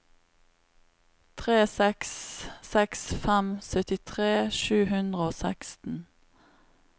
tre seks seks fem syttitre sju hundre og seksten